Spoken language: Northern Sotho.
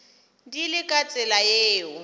di le ka tsela yeo